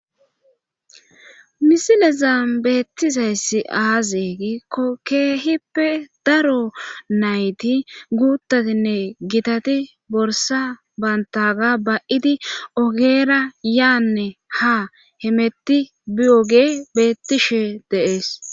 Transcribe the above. Misilezan beettizay aaze giiko keehippe daro nayti guutaatine gitati borssa banttaaga ba7idinee ogera yaannne ha hemettishe biyoge beettishe de7ees.